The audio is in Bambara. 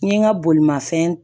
N ye n ka bolimafɛn